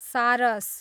सारस